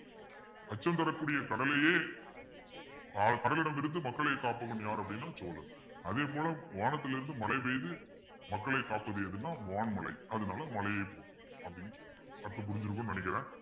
அச்சம் தரக்கூடிய கடலையே அஹ் கடலிடமிருந்து மக்களை காப்பவன் யார் அப்பிடின்னா சோழன் அதே போல வானத்திலிருந்து மழை பெய்து மக்களை காப்பது எதுனா வான்மழை அதனால மழையை அப்பிடின்னு சொல்றேன் அப்ப புரிஞ்சிருக்கும்ன்னு நினைக்கிறேன்